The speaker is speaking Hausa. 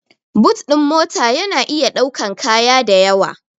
But ɗin mota ya na iya ɗaukan kaya dayawa